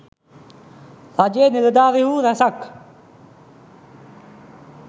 රජයේ නිලධාරීහු රැසක්